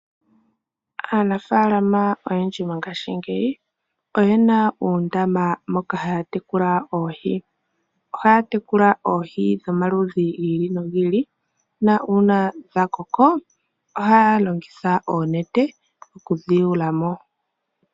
Aanafaalama oyendji mongashingeyi oye na oondama moka ha ya tekula oohi . Oha ya tekula oohi dhomaludhi